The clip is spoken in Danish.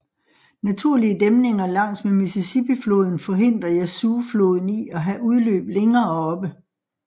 Naturlige dæmninger langs med Mississippi floden forhindrer Yazoo floden i at have udløb længere oppe